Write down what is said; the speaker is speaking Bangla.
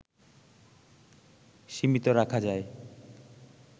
সীমিত রাখা যায়